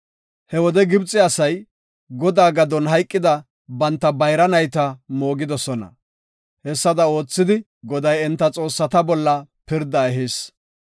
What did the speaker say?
He wode Gibxe asay Godaa gadon hayqida banta bayra nayta moogosona. Hessada oothidi, Goday enta xoossata bolla pirda ehis.